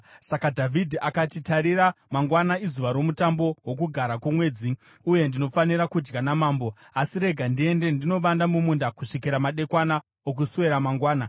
Saka Dhavhidhi akati, “Tarira, mangwana izuva romutambo woKugara kwoMwedzi, uye ndinofanira kudya namambo; asi rega ndiende ndinovanda mumunda kusvikira madekwana okuswera mangwana.